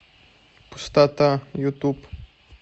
пустота ютуб